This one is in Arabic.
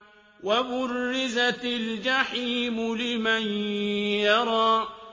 وَبُرِّزَتِ الْجَحِيمُ لِمَن يَرَىٰ